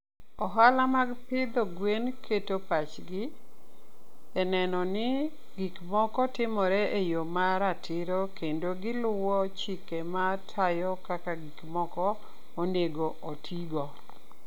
Ohala mag pidho gwen keto pachgi e neno ni gik moko timore e yo ma ratiro kendo gi luwo chike ma tayo kaka gik moko onego otigo.